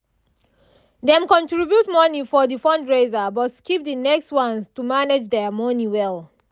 dem contribute money for the fundraiser but skip the next ones to manage their money well